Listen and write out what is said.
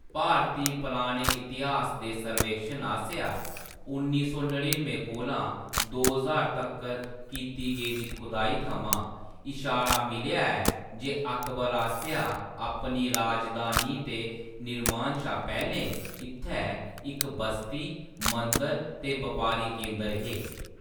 भारती पराने इतेहास दे सर्वेक्षण आसेआ उन्नी सौ नडिनुएं कोला दो ज्हार तक्कर कीती गेदी खुदाई थमां इशारा मिलेआ ऐ जे अकबर आसेआ अपनी राजधानी दे निर्माण शा पैह्‌‌‌लें इत्थै इक बस्ती, मंदर ते बपारी केंदर हे।